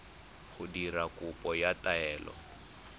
go dira kopo ya taelo